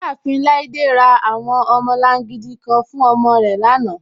Iyaafin Laide ra awọn ọmọlàngídì kàn fún ọmọ rẹ lánà.